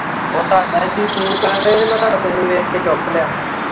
ਓ ਤੁਹਾਡਾ ਹੀ ਤੁਹੀਂ ਫੋਨ ਕਰਨ ਦਏ ਹੀ ਤੇ ਮੈਂ ਤੁਹਾਡਾ ਫੋਨ ਵੇਖ ਕੇ ਚੁੱਕ ਲਿਆ।